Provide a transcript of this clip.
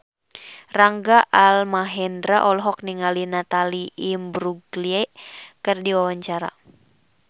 Rangga Almahendra olohok ningali Natalie Imbruglia keur diwawancara